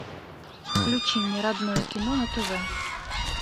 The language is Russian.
включи мне родное кино на тв